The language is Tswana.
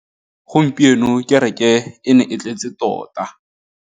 Gompieno kêrêkê e ne e tletse tota.